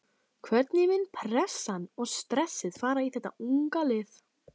Hvernig mun pressan og stressið fara í þetta unga lið?